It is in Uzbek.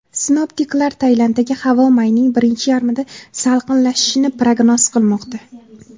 Sinoptiklar Tailanddagi havo mayning birinchi yarmida salqinlashishini prognoz qilmoqda.